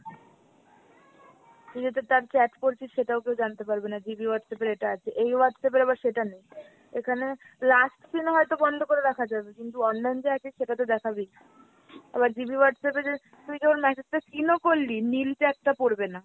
তুই যাতে তার chat করছিস সেটাও কেউ জানতে পারবে না GB Whatsapp এর এটা আছে। এই Whatsapp এর আবার সেটা নেই। এখানে last seen হয়তো বন্ধ করে রাখা যাবে কিন্তু online যে আছে সেটাতো দেখাবেই। আবার GB Whatsapp এ যে তুই যে ওর message টা seen ও করলি নীল tag টা পড়বেনা